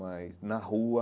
Mas, na rua,